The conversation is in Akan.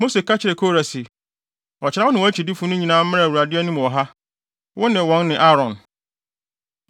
Mose ka kyerɛɛ Kora se, “Ɔkyena wo ne wʼakyidifo no nyinaa mmra Awurade anim wɔ ha; wo ne wɔn ne Aaron.